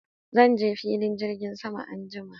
Zan je filin jirgin sama anjima